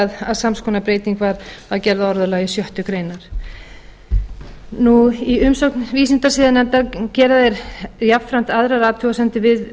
að sams konar breyting var gerð á orðalagi sjöttu grein í umsögn vísindasiðanefndar gera þeir jafnframt aðrar athugasemdir við